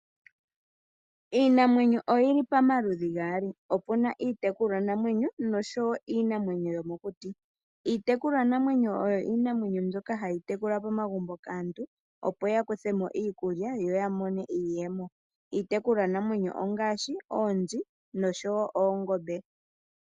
Iinamwenyo oyili pamaludhi gaali. Opu na iitekulwanamwenyo nosho wo iinamwenyo yomokuti. Iitekulwanamwenyo oyo iinamwenyo mbyoka hayi tekulwa momagumbo kaantu opo ya kuthe mo iikulya, yo ya mone iiyemo. Iitekulwanamwenyo ongaashi: oonzi nosho wo oongombe.